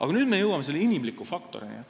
Aga nüüd me jõuame selle inimliku faktorini.